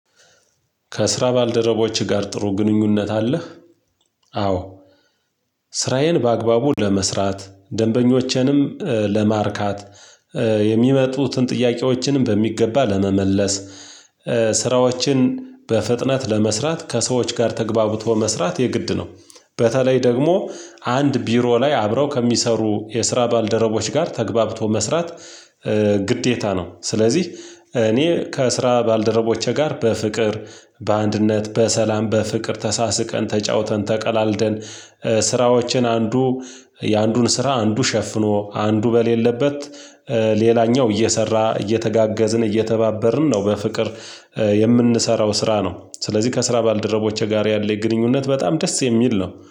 ከስራ ባልደረቦችህ ጋር ጥሩ ግንኙነት አለህ? አዎ ስራዬን በአግባቡ ለመስራት ደንበኞቼንም ለማርካት የሚመጡትን ጥያቄዎችንም በሚገባ ለመመለስ ስራዎችን በፍጥነት ለመስራት ከሰዎች ጋር ተግባብቶ መስራት የግድ ነው። በተለይ ደግሞ አንድ ቢሮ ላይ አብረው ከሚሰሩ የስራ ባልደረቦች ጋር ተግባብቶ መስራት ግዴታ ነው። ስለዚህ እኔ ከስራ ባልደረቦቼ ጋር በፍቅር በአንድነት በሰላም በፍቅር ተሳስቀን ተጫውተን ተቀላልደን ስራዎችን አንዱ የአንዱን ስራ አንዱ ሸፍኖ አንዱ በሌለበት ሌላኛው እየሰራ እየተጋገዝን እየተባበርን ነው። በፍቅር የምንሰራው ስራ ነው ስለዚህ ከስራ ባልደረቦቼ ጋር ያለኝ የግንኙነት በጣም ደስ የሚል ነው